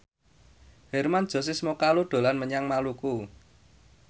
Hermann Josis Mokalu dolan menyang Maluku